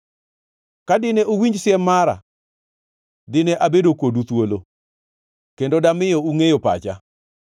Ka dine uwinj siem mara, dine abedo kodu thuolo, kendo damiyo ungʼeyo pacha.